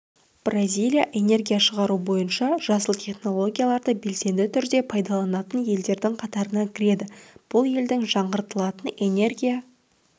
бразилия энергия шығару бойынша жасыл технологияларды белсенді түрде пайдаланатын елдердің қатарына кіреді бұл елдің жаңғыртылатын энергия